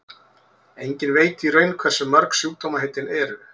enginn veit í raun hversu mörg sjúkdómaheitin eru